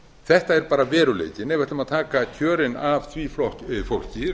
þetta er bara veruleikinn ef við ætlum að taka kjörin af því fólki